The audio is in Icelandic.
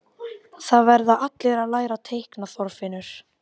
Það verða allir að læra að reikna, Þorfinnur